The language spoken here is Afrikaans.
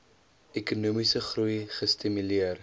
ekonomiese groei gestimuleer